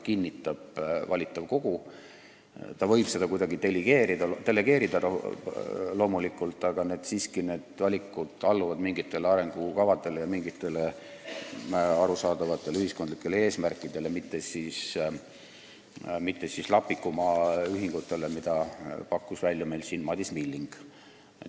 Ta võib seda loomulikult kuidagi delegeerida, aga need valikud alluvad siiski mingitele arengukavadele ja arusaadavatele ühiskondlikele eesmärkidele, mitte Lapiku Maa ühingule, mida pakkus meil siin välja Madis Milling.